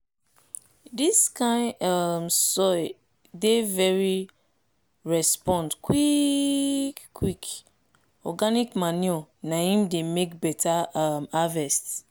dis kind um soil dey very respond quick quick organic manure na im dey make beta um harvest